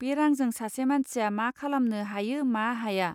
बे रांजों सासे मानसिया मा खालामनो हायो मा हाया.